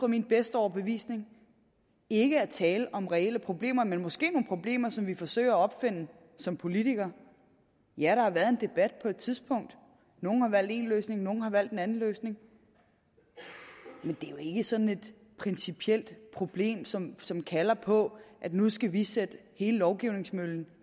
min bedste overbevisning ikke er tale om reelle problemer men måske nogle problemer som vi forsøger at opfinde som politikere ja der har været en debat på et tidspunkt og nogle har valgt én løsning nogle andre har valgt en anden løsning men det er jo ikke sådan et principielt problem som som kalder på at nu skal vi sætte hele lovgivningsmøllen